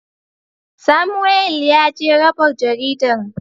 Samuwel yaje raba jaridan.